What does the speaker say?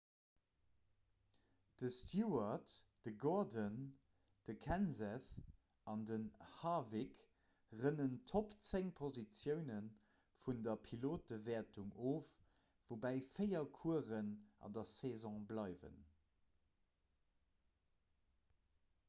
de stewart de gordon de kenseth an den harwick rënnen d'topp zéng positioune vun der pilotewäertung of woubäi véier coursen an der saison bleiwen